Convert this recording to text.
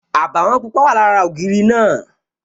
Àbàwọ̀n pupa wà lára ògiri náà